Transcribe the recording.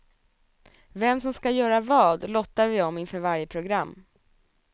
Vem som ska göra vad, lottar vi om inför varje program.